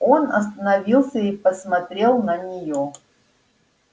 он остановился и посмотрел на неё